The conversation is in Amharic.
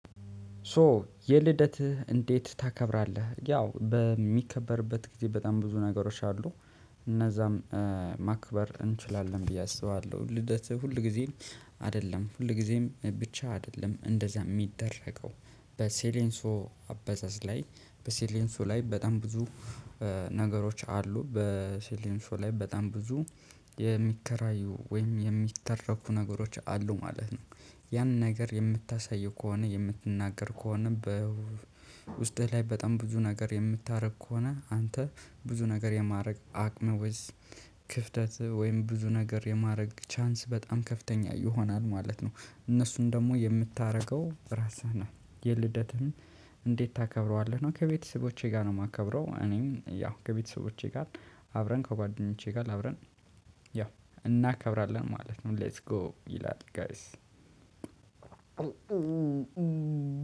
ሶ የልደትህ እንዴት ታከብራለህ? ያው በሚከበርበት ጊዜ በጣም ብዙ ነገሮች አሉ። እነዛም ማክበር እንችላለን ብዬ አስባለሁ። ልደትህ ሁልጊዜም አይደለም ሁልጊዜም ብቻ አይደለም። እንደዛ የሚደረገው በሴሌንሶ አበዛዝ ላይ በሴሌንሶ ላይ በጣም ብዙ ነገሮች አሉ በሴሊንሶ ላይ በጣም ብዙ የሚከራዩ ወይም የሚተረኩ ነገሮች አሉ ማለት ነው። ያን ነገር የምታሳየው ከሆነ የምትናገር ከሆነ በውስጥህ ላይ በጣም ብዙ ነገር የምታደርግ ከሆነ አንተ ብዙ ነገር የማድረግ አቅም ወይስ ክፍተትህ ወይም ብዙ ነገር የማድረግ ቻንስ በጣም ከፍተኛ ይሆናል ማለት ነው። እነሱን ደግሞ የምታደርገው ራስህ ነህ። የልደትህን እንዴት ታከብረዋለህ ነው? ከቤተሰቦቼ ጋር ነው የማከብረው። እኔም ያው ከቤተሰቦቼ ጋር አብረን ከጓደኞቼ ጋር አብረን ያው እናከብራለን ማለት ነው። ሌትስ ጎ ይላል ጋይስ